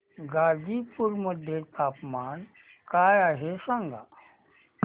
गाझीपुर मध्ये तापमान काय आहे सांगा